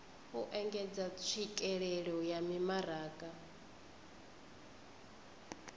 u engedza tswikelelo ya mimaraga